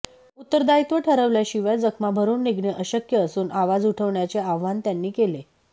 उत्तरदायित्व ठरवल्याशिवाय जखमा भरून निघणे अशक्य असून आवाज उठवण्याचे आवाहन त्यांनी केले